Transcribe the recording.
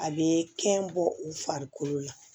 A bɛ kɛn bɔ u farikolo la